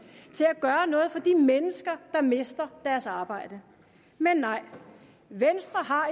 til at gøre noget for de mennesker der mister deres arbejde men nej venstre har